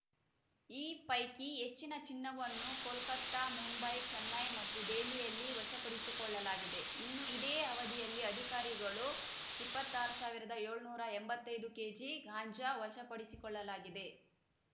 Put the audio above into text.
ಈ ಪೈಕಿ ಹೆಚ್ಚಿನ ಚಿನ್ನವನ್ನು ಕೋಲ್ಕತಾ ಮುಂಬೈ ಚೆನ್ನೈ ಮತ್ತು ದೆಹಲಿಯಲ್ಲಿ ವಶಪಡಿಸಿಕೊಳ್ಳಲಾಗಿದೆ ಇನ್ನು ಇದೇ ಅವಧಿಯಲ್ಲಿ ಅಧಿಕಾರಿಗಳು ಇಪ್ಪತ್ತಾರು ಸಾವಿರದ ಏಳುನೂರ ಎಂಬತ್ತೈದು ಕೆಜಿ ಗಾಂಜಾ ವಶಪಡಿಸಿಕೊಳ್ಳಲಾಗಿದೆ